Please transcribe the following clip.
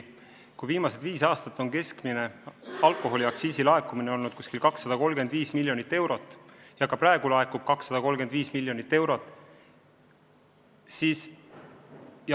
Viimased viis aastat on keskmine alkoholiaktsiisi laekumine olnud umbes 235 miljonit eurot, praegu laekub 235 miljonit eurot.